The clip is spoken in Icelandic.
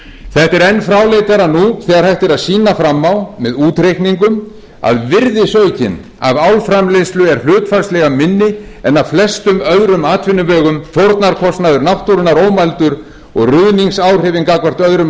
þetta er enn fráleitara nú þegar hægt er að sýna fram á með útreikningum að virðisaukinn af álframleiðslu er hlutfallslega minni en af flestum öðrum atvinnuvegum fórnarkostnaður náttúrunnar ómældur og ruðningsáhrifin gagnvart öðrum